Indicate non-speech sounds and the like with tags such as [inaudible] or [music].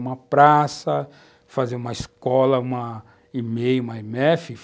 Uma praça, fazer uma escola, uma, [unintelligible] uma IMEFI